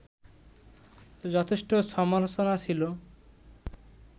যথেষ্ট সমালোচনা ছিল